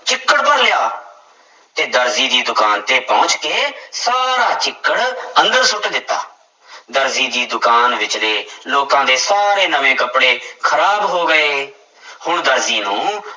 ਚਿੱਕੜ ਭਰ ਲਿਆ, ਤੇ ਦਰਜੀ ਦੀ ਦੁਕਾਨ ਤੇ ਪਹੁੰਚ ਕੇ ਸਾਰਾ ਚਿੱਕੜ ਅੰਦਰ ਸੁੱਟ ਦਿੱਤਾ ਦਰਜੀ ਦੀ ਦੁਕਾਨ ਵਿੱਚਲੇ ਲੋਕਾਂ ਦੇ ਸਾਰੇ ਨਵੇਂ ਕੱਪੜੇ ਖ਼ਰਾਬ ਹੋ ਗਏ ਹੁਣ ਦਰਜੀ ਨੂੰ